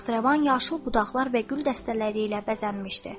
Taxtrəvan yaşıl budaqlar və gül dəstələri ilə bəzənmişdi.